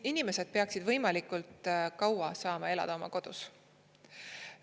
Inimesed peaksid võimalikult kaua saama elada oma kodus.